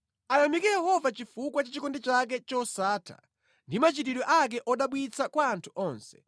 Ayamike Yehova chifukwa cha chikondi chake chosatha ndi machitidwe ake odabwitsa kwa anthu onse,